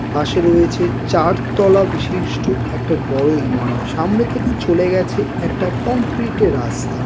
পাশে রয়েছে চার তলা বিশিষ্ট একটা বড়ো ইমারো-- সামনে থেকে চলে গেছে একটা কংক্রিট -এর রাস্তা।